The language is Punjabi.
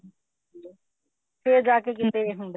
ਫੇਰ ਜਾਕੇ ਕਿਤੇ ਇਹ ਹੁੰਦਾ